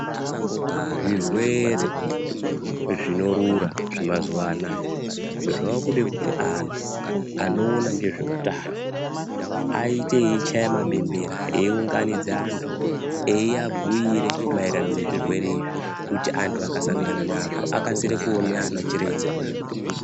Zvirwere zvinorura zvemazuwa anaya zvakude kuti antu anoone ngezveutano aite eichaye mabembera ,eiunganidze antu, eibhuire maererano nezvirwere izvi antu akasangana nazvo akasire kuona ana chiremba.